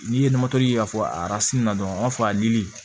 N'i ye ye ka fɔ a na dɔrɔn an b'a fɔ a dili